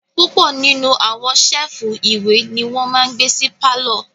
Púpọ̀ nínú àwọn séèfù ìwé ní wọ́n máa n gbé sí pálọ̀